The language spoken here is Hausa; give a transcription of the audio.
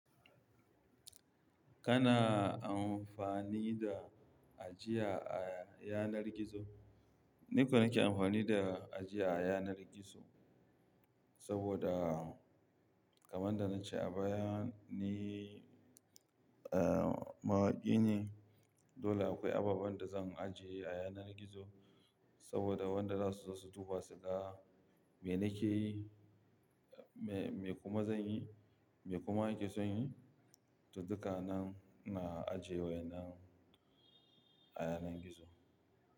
Kana amfani da ajiya a yanar gizo? Ni ko nake amfani da ajiya a yanar gizo saboda kamar yadda na ce a baya ni, eh, mawaki ne. Dole akwai abubuwan da zan ajiye a yanar gizo saboda wanda za su zo su duba su ga me nake yi, me, me kuma zan yi, me kuma nake son yi. To dukanan ina ajiye wa innan a yanar gizo.